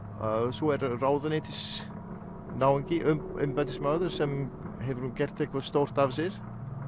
svo er ráðuneytisnáungi embættismaður sem hefur nú gert eitthvað stórt af sér